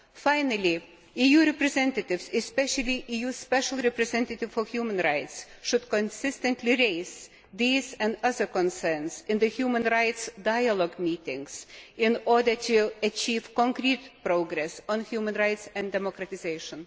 Finally, EU representatives, especially the EU Special Representative for Human Rights, should consistently raise these and other concerns in the human rights dialogue meetings in order to achieve concrete progress on human rights and democratisation.